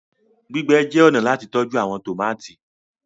Gbígbé jé ọnà láti tọjú àwọn tomati.